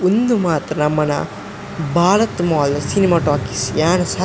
ಉಂದು ಮಾತ್ರ ನಮನ ಭಾರತ್ ಮಾಲ್ ಸಿನಿಮ ಟಾಕೀಸ್ ಯಾನ್ ಸ--